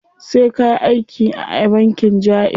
Sai kayi aiki a bankin jaiz.